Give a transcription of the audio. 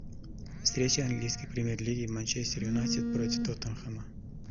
встреча английской премьер лиги манчестер юнайтед против тоттенхэма